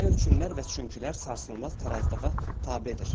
Nə üçünlər və çünkilər sarsılmaz tarazlığa tabedir.